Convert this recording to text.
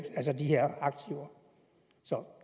aktiver